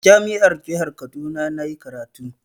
A jami'ar jihar Kaduna na yi karatu.